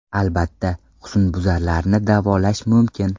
Albatta, husnbuzarlarni davolash mumkin.